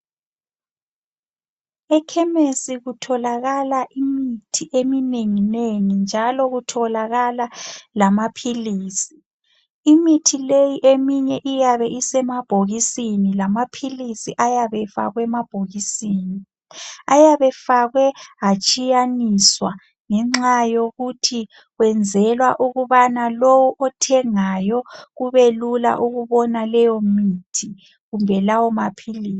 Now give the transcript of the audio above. Ekhemesi kutholakala imithi eminenginengi njalo kutholakala lamaphilisi. Imithi leyi eminye iyabe isemabhokisini lamaphilisi ayabe efakwe emabhokisini. Ayabe efakwe atshiyaniswa ngenxa yokuthi kwenzelwa ukubana lo othengayo kubelula ukubona leyo mithi kumbe lawo maphilisi.